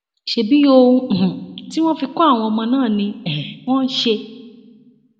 ṣebí ohun um tí wọn fi kọ àwọn ọmọ náà ni um wọn ń ṣe